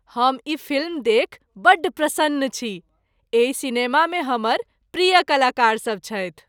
हम ई फिल्म देखि बड्ड प्रसन्न छी। एहि सिनेमामे हमर प्रिय कलाकारसभ छथि।